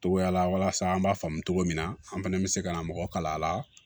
Togoya la walasa an b'a faamu cogo min na an fɛnɛ bɛ se ka na mɔgɔ kala a la